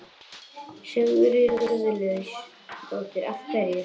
Sigríður Guðlaugsdóttir: Af hverju?